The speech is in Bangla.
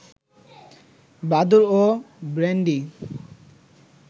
বাদুর ও ব্র্যান্ডি